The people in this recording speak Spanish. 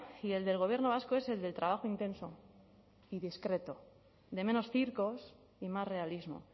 y el del gobierno vasco es el del trabajo intenso y discreto de menos circos y más realismo